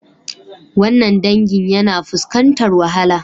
Wannan dangin yana fuskantar wahala